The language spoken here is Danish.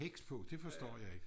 heks på det forstår jeg ikke